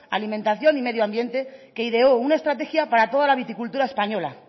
alimentación y medio ambiente que ideó una estrategia para toda la viticultura española